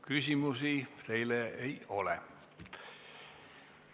Küsimusi teile ei ole.